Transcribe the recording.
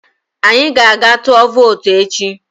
Anyị ga-aga tụọ vootu echi